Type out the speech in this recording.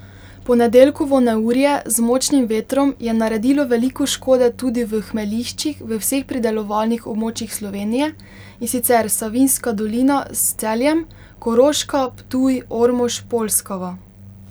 Ponedeljkovo neurje z močnim vetrom je naredilo veliko škode tudi v hmeljiščih v vseh pridelovalnih območjih Slovenije, in sicer Savinjska dolina s Celjem, Koroška, Ptuj, Ormož, Polskava.